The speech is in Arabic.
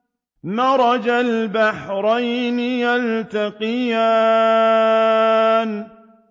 مَرَجَ الْبَحْرَيْنِ يَلْتَقِيَانِ